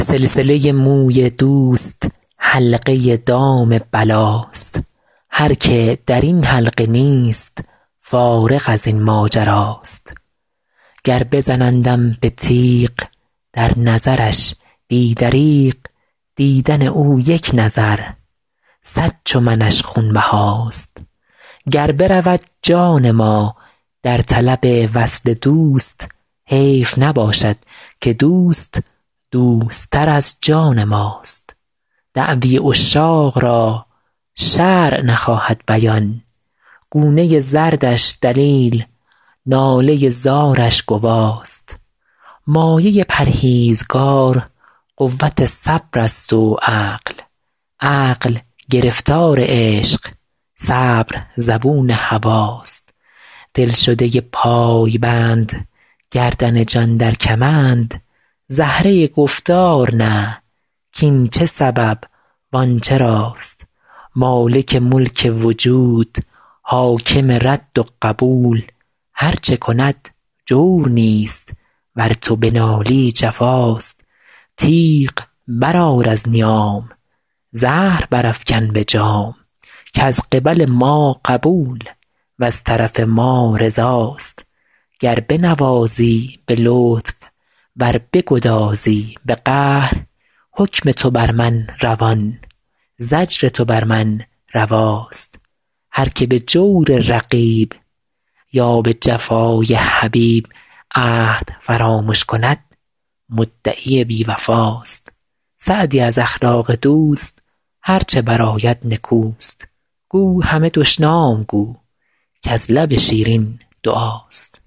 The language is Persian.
سلسله موی دوست حلقه دام بلاست هر که در این حلقه نیست فارغ از این ماجراست گر بزنندم به تیغ در نظرش بی دریغ دیدن او یک نظر صد چو منش خونبهاست گر برود جان ما در طلب وصل دوست حیف نباشد که دوست دوست تر از جان ماست دعوی عشاق را شرع نخواهد بیان گونه زردش دلیل ناله زارش گواست مایه پرهیزگار قوت صبر است و عقل عقل گرفتار عشق صبر زبون هواست دلشده پایبند گردن جان در کمند زهره گفتار نه کاین چه سبب وان چراست مالک ملک وجود حاکم رد و قبول هر چه کند جور نیست ور تو بنالی جفاست تیغ برآر از نیام زهر برافکن به جام کز قبل ما قبول وز طرف ما رضاست گر بنوازی به لطف ور بگدازی به قهر حکم تو بر من روان زجر تو بر من رواست هر که به جور رقیب یا به جفای حبیب عهد فرامش کند مدعی بی وفاست سعدی از اخلاق دوست هر چه برآید نکوست گو همه دشنام گو کز لب شیرین دعاست